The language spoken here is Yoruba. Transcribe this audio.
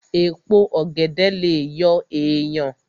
Èpo ọ̀gẹ̀dẹ̀ lè yọ èèyàn